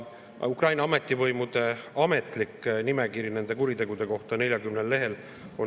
Ukraina ametivõimude ametlik nimekiri nende kuritegude kohta on 40 lehel.